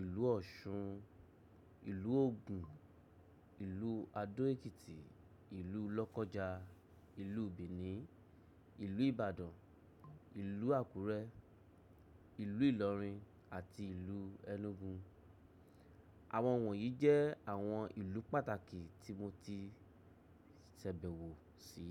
ìlú Ọ̀ṣun, ìlú Ògùn, ìlú Adó-Èkìtì, ìlú Lọ́kọ́ja, ìlú Benin, ìlú Ìbàdàn, ìlú Àkúrẹ́, ìlú Ìlọ̀rìn àti ìlú Enugu. Àwọn wọ̀nyí jẹ́ àwọn ìlú pàtàkì tí mo ti ṣabẹ̀wò sí.